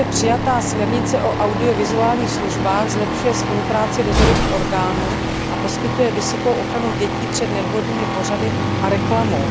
Již dříve přijatá směrnice o audiovizuálních službách zlepšuje spolupráci dozorových orgánů a poskytuje vysokou ochranu dětí před nevhodnými pořady a reklamou.